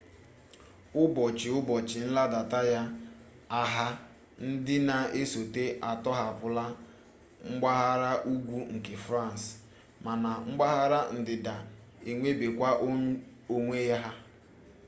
ubochi-ubochi nladata ya agha ndi na esota atohapula mpaghara ugwu nke france mana mpaghara ndida enwerebekwa onwe ha